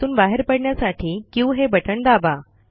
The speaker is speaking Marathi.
त्यातून बाहेर पडण्यासाठी क्यू हे बटण दाबा